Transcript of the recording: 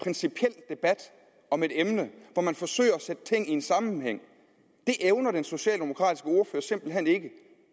principiel debat om et emne hvor man forsøger at sætte ting i en sammenhæng det evner den socialdemokratiske ordfører simpelt hen ikke det